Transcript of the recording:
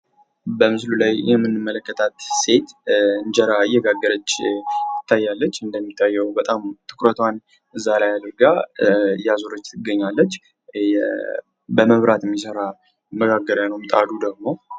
በምስል ላይ የምንመለከታት ሴት እንጀራ እየጋገረች ትገኛለች። እና ትኩረቷ ዛሬ አድርጋ እያዞረች ትገኛለች ። በመብራት የሚሠራ መጋገሪያ ነው ምጣዱ ደግሞ።